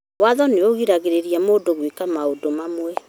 Watho ũgiragĩrĩria mũndũ gwĩka maũndũ mamwe